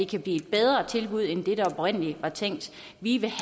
kan blive et bedre tilbud end det der oprindelig var tænkt vi vil